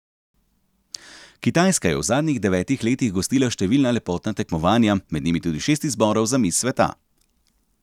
Kitajska je v zadnjih devetih letih gostila številna lepotna tekmovanja, med njimi tudi šest izborov za miss sveta.